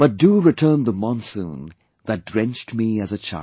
But do return the monsoon that drenched me as a child